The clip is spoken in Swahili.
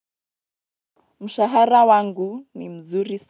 Mshahara wangu ni mzuri sa.